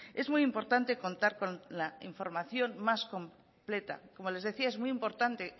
es muy importante contar con la información más completa como les decía es muy importante